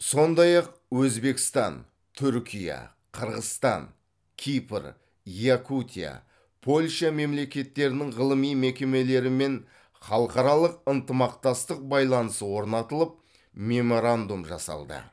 сондай ақ өзбекстан түркия қырғызстан кипр якутия польша мемлекеттерінің ғылыми мекемелерімен халықаралық ынтымақтастық байланыс орнатылып меморандум жасалды